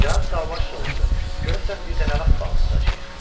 Cənab Sauvage soruşdu: Görəsən bir də nə vaxt balıq tutacağıq?